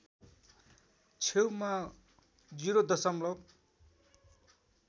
छेउमा ० दशमलव